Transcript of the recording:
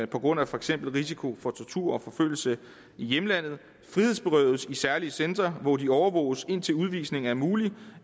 på grund af for eksempel risiko for tortur og forfølgelse i hjemlandet frihedsberøves i særlige centre hvor de overvåges indtil udvisning er mulig